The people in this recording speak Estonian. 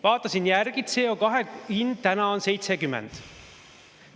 Vaatasin järgi, CO2 hind on 70 eurot.